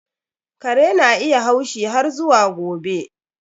Kare na iya haushi har zuwa gobe.